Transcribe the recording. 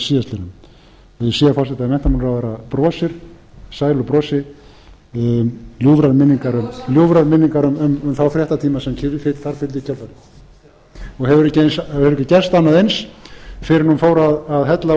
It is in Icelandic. sé forseti að menntamálaráðherra brosir sælu brosi ljúfrar minningar um þá fréttatíma sem þar fylgdu í kjölfarið og hefur ekki gerst annað eins fyrr en hún fór að hella